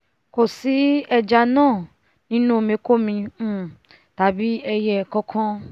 kò sí ẹja náà nínú omi kómi um tàbí ẹiyẹ kankan